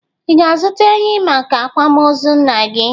Ị ga-azụta ehi maka akwamozu nna gị?